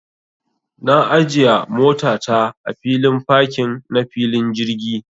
Na ajiya mota ta a filin fakin na filin jirgi.